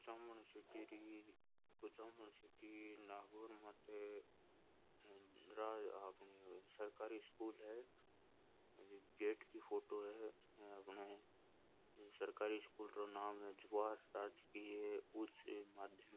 Kuchaman city री Kuchaman city Nagaur माते सरकारी स्कूल है बी गेट की फोटो है अपने सरकारी स्कूल रो नाम है जवाहर राजकीय उच्च माध्यमिक।